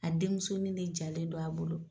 A denmusonin de jalen don a bolo!